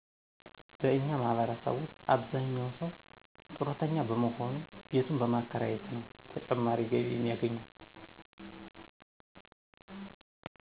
በእኛ ማህበረሰብ ውሰጥ አብዛኛው ሰው ጡረተኛ በሞሆኑ ቤቱን በማከራየት ነው ተጨማሪ ገቢ የሚያገኘው።